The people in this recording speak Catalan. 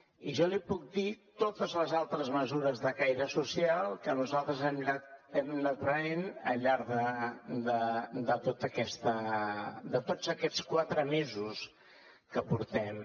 i jo li puc dir totes les altres mesures de caire social que nosaltres hem anat prenent al llarg de tots aquests quatre mesos que portem